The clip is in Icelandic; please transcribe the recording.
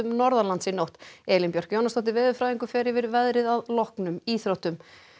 norðanlands í nótt Elín Björk Jónasdóttir veðurfræðingur fer yfir veðrið að loknum íþróttum